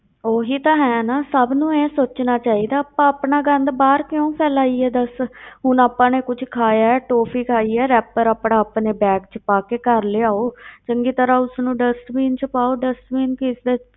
ਉਹੀ ਤਾਂ ਹੈ ਨਾ ਸਭ ਨੂੰ ਇਉਂ ਸੋਚਣਾ ਚਾਹੀਦਾ, ਆਪਾਂ ਆਪਣਾ ਗੰਦ ਬਾਹਰ ਕਿਉਂ ਫੈਲਾਈਏ ਦੱਸ ਹੁਣ ਆਪਾਂ ਨੇ ਕੁਛ ਖਾਇਆ ਹੈ, toffee ਖਾਈ ਹੈ rapper ਆਪਣਾ ਆਪਣੇ bag ਵਿੱਚ ਪਾ ਕੇ ਘਰ ਲਿਆਓ ਚੰਗੀ ਤਰ੍ਹਾਂ ਉਸਨੂੰ dustbin ਵਿੱਚ ਪਾਓ dustbin ਕਿਸ ਦੇ